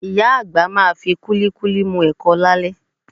Ìyá àgbà máa fi kúlíkúlí mu ẹ̀kọ lálẹ́